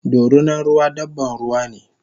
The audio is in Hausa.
Dorinan ruwa dabban ruwane